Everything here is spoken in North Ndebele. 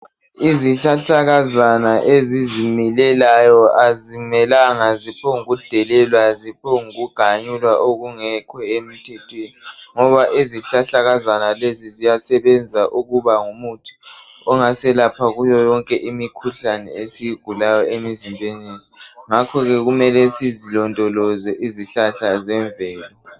Izihlahlakazana ezizimilelayo azimelanga ziphombukudelelwa ziphombukuganyulwa okungekho emthethweni ngoba izihlahlakazana lezi ziyasebenza ukuba ngumuthi ongaselapha kuyo yonke imikhuhlane esiyigulayo emizimbeni ngakhoke kumele sizilondoloze izihlahla zemvelo